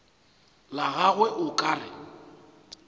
la gagwe o ka re